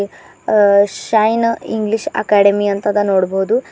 ಅ Shine English academy ಅಂತದ ನೋಡ್ಬೋದು.